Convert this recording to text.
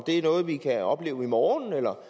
det er noget vi kan opleve i morgen eller